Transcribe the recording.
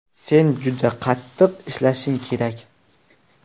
Sen juda qattiq ishlashing kerak.